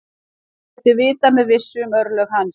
Ekkert er vitað með vissu um örlög hans.